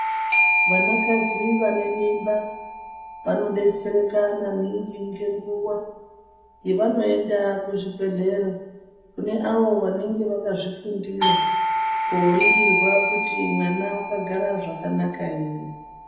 Vanakadzi vane mimba, vanodetsereka maningi ngenguwa yevanoende kuzvibhedhlera kune avo vanenge vakazvifundira. Kooningirwa kuti mwana wakagara zvakanaka ere?